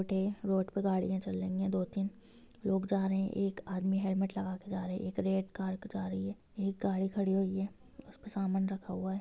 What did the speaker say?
Road हैं road पे गाड़ियां चल रही है दो तीन लोग जा रहे है एक आदमी हेल्मेट लगा के जा रहे है एक रेड कार जा रही है एक गाड़ी खड़ी हुई है उस पे सामान रखा हुआ है।